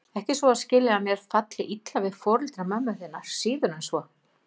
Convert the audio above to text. Ekki svo að skilja að mér falli illa við foreldra mömmu þinnar, síður en svo.